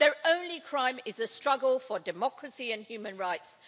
Their only crime is a struggle for democracy and human rights.